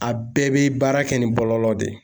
A bɛɛ bɛ baara kɛ ni kɔlɔlɔ de ye